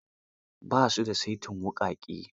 Ba su da saitin wuƙaƙe.